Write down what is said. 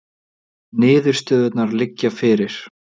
Niðurstöðurnar liggja fyrir